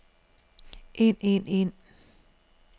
ind ind ind